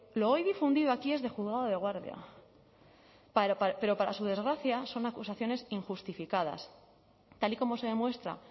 lo hoy difundido aquí es de juzgado de guardia pero para su desgracia son acusaciones injustificadas tal y como se demuestra